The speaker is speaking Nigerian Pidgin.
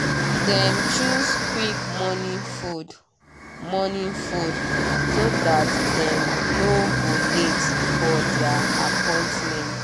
dem choose quick morning food morning food so that dem no go late for their appointments.